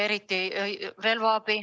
Eriti relvaabi.